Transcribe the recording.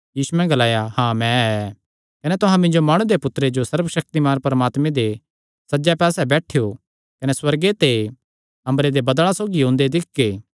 यीशुयैं ग्लाया हाँ मैं ऐ कने तुहां मिन्जो माणु दे पुत्तरे जो सर्वशक्तिमान परमात्मे दे सज्जे पास्से बैठेयो कने सुअर्गे ते अम्बरे दे बदल़ां सौगी ओंदे दिक्खगे